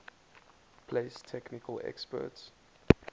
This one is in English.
place technical experts